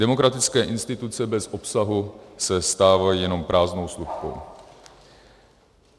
Demokratické instituce bez obsahu se stávají jenom prázdnou slupkou.